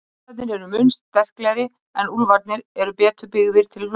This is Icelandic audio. hundarnir eru mun sterklegri en úlfarnir eru betur byggðir til hlaupa